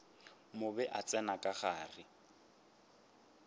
mobe a tsena ka gare